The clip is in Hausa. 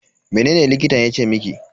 Mene likitan yace miki?